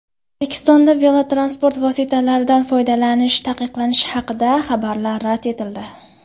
O‘zbekistonda velotransport vositalaridan foydalanish taqiqlanishi haqidagi xabarlar rad etildi.